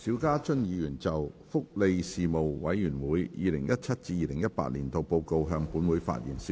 邵家臻議員就"福利事務委員會 2017-2018 年度報告"向本會發言。